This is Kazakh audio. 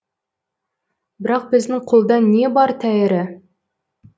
бірақ біздің қолда не бар тәйірі